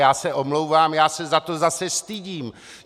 Já se omlouvám, já se za to zase stydím!